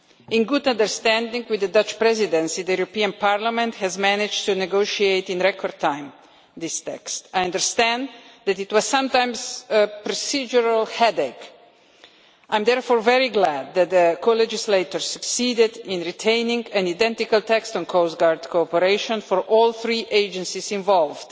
In good understanding with the Dutch Presidency, the European Parliament has managed to negotiate this text in record time. I understand that it was sometimes a procedural headache. I am therefore very glad that the co legislators succeeded in retaining an identical text on coastguard cooperation for all three agencies involved